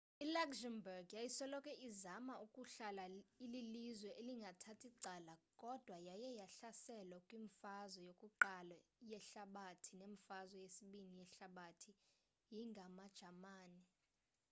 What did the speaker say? i luxembourg yayisoloko izama ukuhlala ililizwe elingathathi cala kodwa yaye yahlaselwa kwimfazwe yokuqala yehalabathi nemfazwe yesibini yehlabathi yi ngamajamani